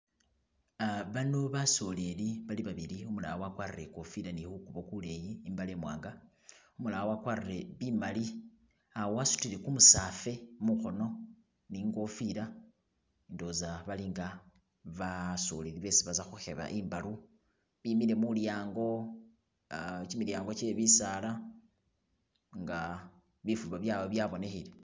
Bano basoleli bali babili umulala wakwarile ikofila ni kukubo kuleyi ni mbale imwanga umulala wakwarile imali wasutile kumusafe mukhono ningofila ndowoza balinga basoleli besi baza khukheba imbalu bimile mulyango gyimilyango gye bisaala nga bifuba byawe byabonekhele